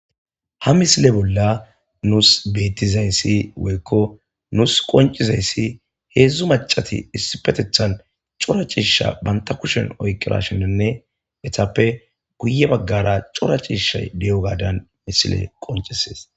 ha misile bolla nuus beetizayssi woykko nuus qoncizayssi heedzdzu macati issi petethan cora ciisha banta kushen oykira shinnonne etappe guye baggara cora ciisha de7o gadan misile qoncisees